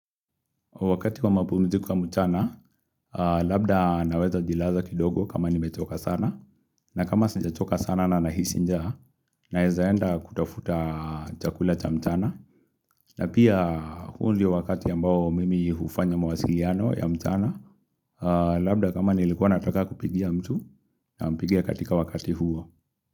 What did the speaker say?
Wakati kwa mapumziko kwa mchana, labda naweza jilaza kidogo kama nimechoka sana, na kama sijachoka sana na nahisi njaa, naeza enda kutafuta chakula cha mchana. Na pia huu ndio wakati ambao mimi hufanya mawasiliano ya mchana, labda kama nilikuwa nataka kupigia mtu, na mpigia katika wakati huo.